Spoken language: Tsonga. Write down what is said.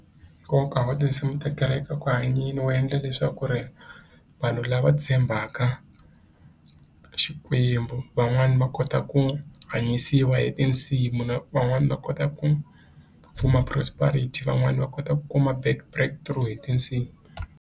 Hikuva ku va tinsimu ta kereke eku hanyeni wu endla leswaku ri vanhu lava tshembaka Xikwembu van'wani va kota ku hanyisiwa hi tinsimu na van'wani va kota ku form-a prosperity van'wani va kota ku kuma back break through hi tinsimu.